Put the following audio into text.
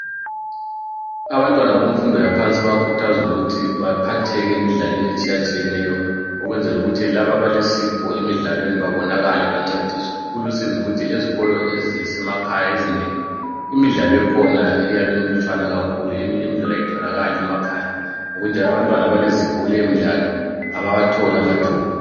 Abantwana bomfundo yaphansi bayakhuthazwa ukuthi baphatheke emidlalweni etshiyatshiyeneyo. Ukwenzele ukuthi laba abalesipho emidlalweni babonakale bancediswe. Kulusizi ukuthi ezikolo esizemakhaya ezinengi imidlalo ekhona iyabe imilutshwana kakhulu eminye imidlalo ayitholakali emakhaya ngokunjalo abantwana abalezipho leyomdlalo abawatholi amathuba.